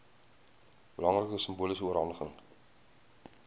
belangrike simboliese oorhandiging